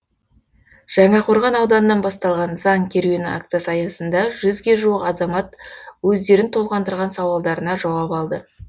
жаңақорған ауданынан басталған заң керуені акциясы аясында жүзге жуық азамат өздерін толғандырған сауалдарына жауап алды